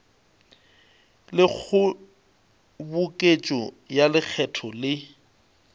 le kgoboketšo ya lekgetho le